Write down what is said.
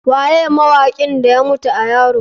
Waye mawakin da ya mutu a yaro?